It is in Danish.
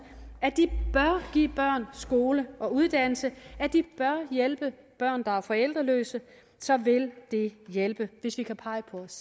at de bør give børn skole og uddannelse og at de bør hjælpe børn der er forældreløse så vil det hjælpe hvis vi kan pege på os